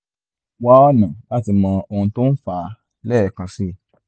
wá ọ̀nà láti mọ ohun tó ń fà á lẹ́ẹ̀kan sí i